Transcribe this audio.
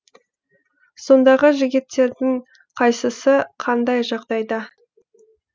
сондағы жігіттердің қайсысы қандай жағдайда